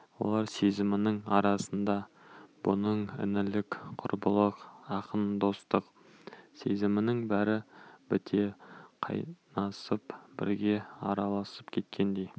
олар сезімінің арасында бұның інілік құрбылық ақын достық сезімнің бәрі біте қайнасып бірге араласып кеткендей